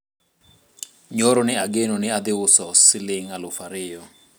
nyoro ne ageno ni adhi uso siling aluf ariyo